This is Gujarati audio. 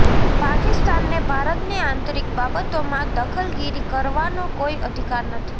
પાકિસ્તાનને ભારતની આંતરીક બાબતોમાં દખલગીરી કરવાનો કોઈ અધિકાર નથી